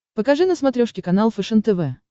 покажи на смотрешке канал фэшен тв